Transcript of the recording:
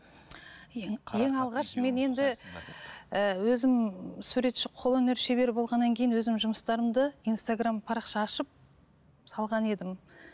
ііі өзім суретші қолөнер шебері болғаннан кейін өзім жұмыстарымды инстаграмм парақша ашып салған едім